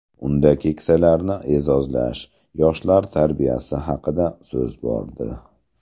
Unda keksalarni e’zozlash, yoshlar tarbiyasi haqida so‘z bordi.